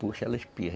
Puxa, ela espirra.